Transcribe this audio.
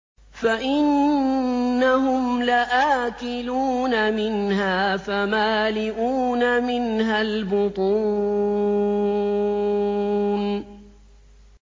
فَإِنَّهُمْ لَآكِلُونَ مِنْهَا فَمَالِئُونَ مِنْهَا الْبُطُونَ